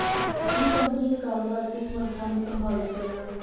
ਇਹ ਕੰਪਨੀ ਦੇ ਕਾਰੋਬਾਰ ਅਤੇ ਸਮਰੱਥਾ ਨੂੰ ਪ੍ਰਭਾਵਿਤ ਕਰੇਗਾ